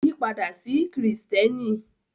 Ó yí padà sí Kìrìtẹ́ẹ́nì.